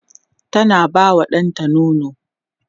tana ba wa ɗanta nono